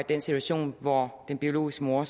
den situation hvor den biologiske mor